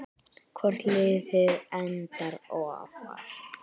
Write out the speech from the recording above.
Hvort liðið endar ofar?